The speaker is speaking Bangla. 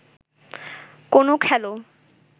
কোনো খেলো